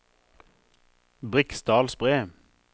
Briksdalsbre